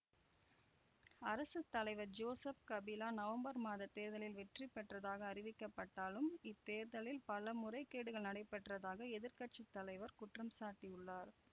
அரசு தலைவர் Joseph Kabila நவம்பர் மாதத் தேர்தலில் வெற்றி பெற்றதாக அறிவிக்கப்பட்டாலும் இத்தேர்தலில் பல முறைகேடுகள் நடைபெற்றதாக எதிர் கட்சி தலைவர் குற்றம் சாட்டியுள்ளார்